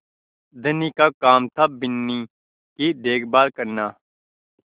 धनी का काम थाबिन्नी की देखभाल करना